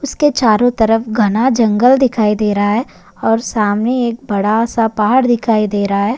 उसके चारो तरफ घना जंगल दिखाई दे रहा है और सामने एक बडा सा पहाड़ दिखाई दे रा है।